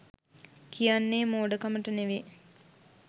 කියන්නේ මෝඩකමට නෙමේ.